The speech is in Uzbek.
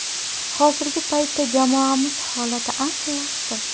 Hozirgi paytda jamoamiz holati ancha yaxshi.